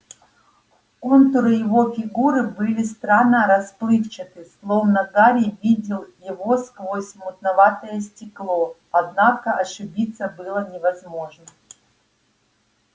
контуры его фигуры были странно расплывчаты словно гарри видел его сквозь мутноватое стекло однако ошибиться было невозможно